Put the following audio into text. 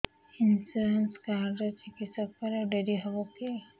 insurance card ରେ ଚିକିତ୍ସା କଲେ ଡେରି ହବକି